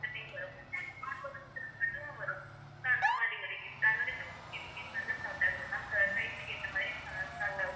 அந்த time வரும் ரெண்டும் வரும் எதுவும் வரும் so அந்த மாதிரி two fifty rupees ல இருந்து start aguthu ma'am இப்ப size க்கு ஏத்தமாரி